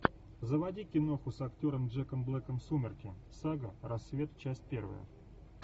заводи киноху с актером джеком блэком сумерки сага рассвет часть первая